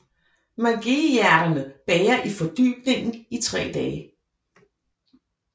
Magueyhjerterne bager i fordybningen i tre dage